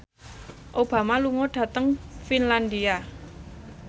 Obama lunga dhateng Finlandia